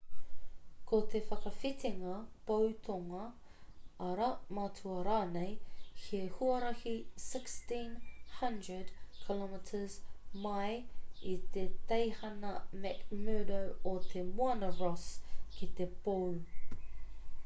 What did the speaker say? ko te whakawhitinga pou tonga ara matua rānei he huarahi 1600 km mai i te teihana mcmurdo o te moana ross ki te pou